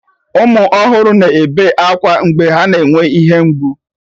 Ụmụ ọhụrụ na-ebe akwa mgbe ha na-enwe ihe mgbu